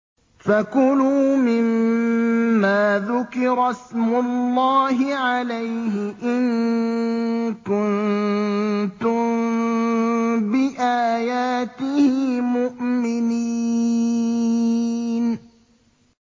فَكُلُوا مِمَّا ذُكِرَ اسْمُ اللَّهِ عَلَيْهِ إِن كُنتُم بِآيَاتِهِ مُؤْمِنِينَ